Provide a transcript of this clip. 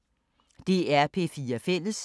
DR P4 Fælles